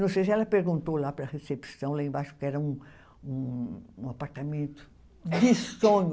Não sei se ela perguntou lá para a recepção, lá embaixo, porque era um um, um apartamento de sonho.